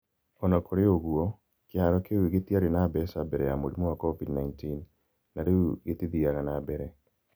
O na kũrĩ ũguo, kĩharo kĩu gĩtiarĩ na mbeca mbere ya mũrimũ wa COVID-19 na rĩu gĩtithiaga na mbere.